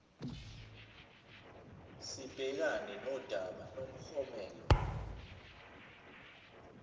sibhekane nodaba lomklomelo